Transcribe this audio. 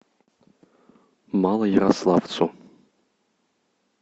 малоярославцу